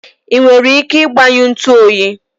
i nwere ike igbanyụ ntu oyi?